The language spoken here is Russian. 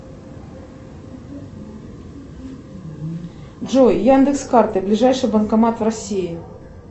джой яндекс карты ближайший банкомат в россии